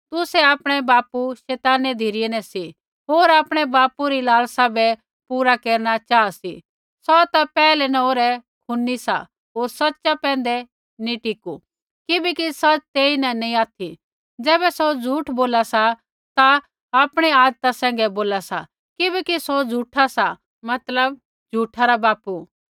तुसै आपणै बापू शैताना री धिरै न सी होर आपणै बापू री लालसा बै पूरा केरना चाहा सी सौ ता पैहलै न ओरै खूनी सा होर सच़ा पैंधै नी टिकू किबैकि सच़ तेईन नैंई ऑथि ज़ैबै सौ झूठ बोला सा ता आपणै आदता सैंघै बोला सा किबैकि सौ झूठा सा मतलब झूठा रा बापू सा